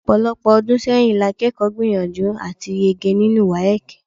Ọ̀pọ̀lọpọ̀ ọdún sẹ́yìn lakẹ́kọ̀ọ́ gbìyànjú àti yege nínú WAEC.